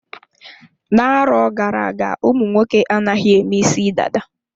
Na-arọ gara-aga ụmụnwoke anaghị eme isi dada.